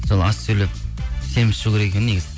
сол аз сөйлеп семіз шығу керек екен негізі